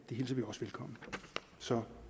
hilser vi også velkommen så